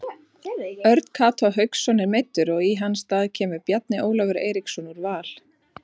Örn Kató Hauksson er meiddur og í hans stað kemur Bjarni Ólafur Eiríksson úr Val.